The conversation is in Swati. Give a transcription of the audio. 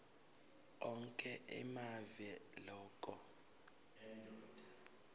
onkhe emave loke